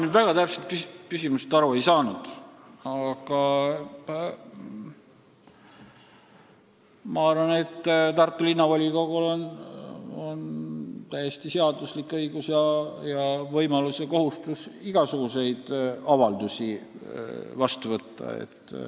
Ma kuigi hästi küsimusest aru ei saanud, aga ma arvan, et Tartu Linnavolikogul on täiesti seaduslik õigus igasuguseid avaldusi teha.